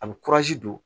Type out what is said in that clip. A bɛ don